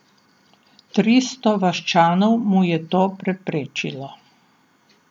Tristo vaščanov mu je to preprečilo.